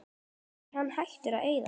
Er hann hættur að eyða?